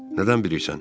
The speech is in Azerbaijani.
Nədən bilirsən?